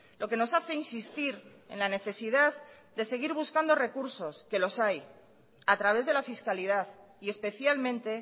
lo que nos hace insistir en la necesidad de seguir buscando recursos que los hay a través de la fiscalidad y especialmente